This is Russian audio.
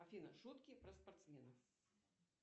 афина шутки про спортсменов